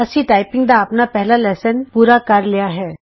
ਅਸੀਂ ਟਾਈਪਿੰਗ ਦਾ ਆਪਣਾ ਪਹਿਲਾ ਲੈਸਨ ਪੂਰਾ ਕਰ ਲਿਆ ਹੈ